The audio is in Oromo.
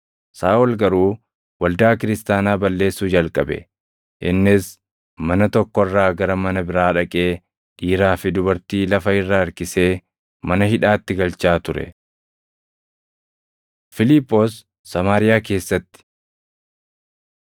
Saaʼol garuu waldaa kiristaanaa balleessuu jalqabe; innis mana tokko irraa gara mana biraa dhaqee dhiiraa fi dubartii lafa irra harkisee mana hidhaatti galchaa ture. Fiiliphoos Samaariyaa Keessatti